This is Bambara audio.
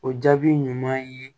O jaabi ɲuman ye